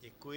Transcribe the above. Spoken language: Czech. Děkuji.